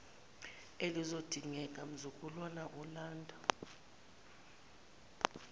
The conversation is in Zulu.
elizodingeka mzukwana ulanda